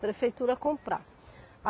Prefeitura comprar.